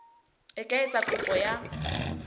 e ka etsa kopo ya